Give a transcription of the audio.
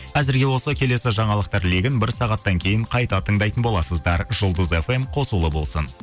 әзірге осы келесі жаңалықтар легін бір сағаттан кейін қайта тыңдайтын боласыздар жұлдыз фм қосулы болсын